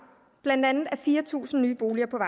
blandt andet er fire tusind nye boliger på